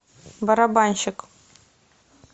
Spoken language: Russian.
барабанщик